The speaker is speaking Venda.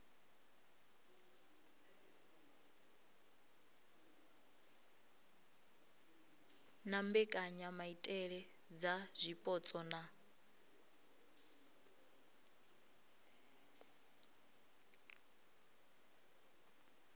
na mbekanyamaitele dza zwipotso na